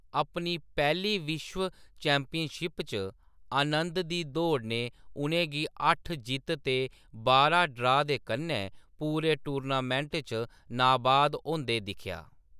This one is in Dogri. अपनी पैह्‌ली विश्व चैंपियनशिप च आनंद दी दौड़ ने उ’नें गी अट्ठ जित्त ते बारां ड्रा दे कन्नै पूरे टूर्नामेंट च नाबाद होंदे दिक्खेआ।